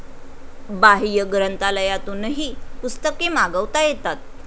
बाह्य ग्रंथालयातूनही पुस्तके मागवता येतात